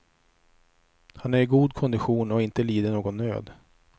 Han är i god kondition och har inte lidit någon nöd.